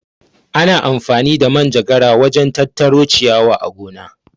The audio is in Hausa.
Ana amfani da Manjagara wajen tattaro ciyawa a gona.